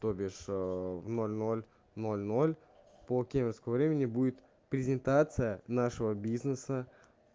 то бишь в ноль ноль ноль ноль по кемеровскому времени будет презентация нашего бизнеса